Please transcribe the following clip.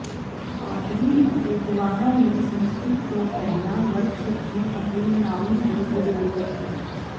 ਪਾਦਰੀ ਅਤੇ ਗਵਾਹਾਂ ਨੂੰ ਸੰਸਕ੍ਰਿਤ ਤੋਂ ਪਹਿਲਾਂ ਵਰਤ ਰੱਖਣ ਅਤੇ ਮਨਾਉਣ ਦੀ ਜ਼ਰੂਰਤ ਹੈ